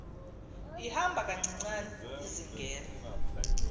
ihamba kancinane izingela